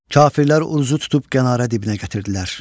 Kafirlər Oruzu tutub Qanarə dibinə gətirdilər.